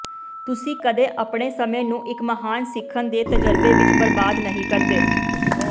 ਤੁਸੀਂ ਕਦੇ ਆਪਣੇ ਸਮੇਂ ਨੂੰ ਇੱਕ ਮਹਾਨ ਸਿੱਖਣ ਦੇ ਤਜਰਬੇ ਵਿੱਚ ਬਰਬਾਦ ਨਹੀਂ ਕਰਦੇ